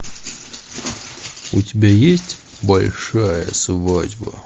у тебя есть большая свадьба